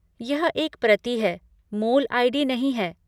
यह एक प्रति है, मूल आई.डी. नहीं है।